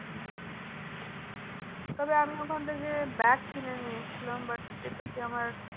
তবে আমি ওখান থেকে bag কিনে নিয়ে এসেছিলাম but যেহেতু কি আমার